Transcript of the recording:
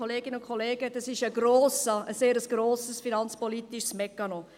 Dies ist ein sehr grosser finanzpolitischer Mechanismus.